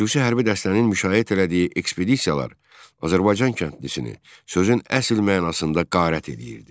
Xüsusi hərbi dəstənin müşayiət elədiyi ekspedisiyalar Azərbaycan kəndlisini sözün əsl mənasında qərat eləyirdi.